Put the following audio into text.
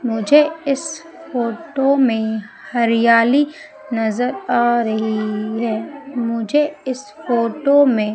मुझे इस फोटो में हरियाली नजर आ रही है मुझे इस फोटो में--